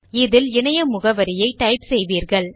இதில் இணைய முகவரியை டைப் செய்வீர்கள்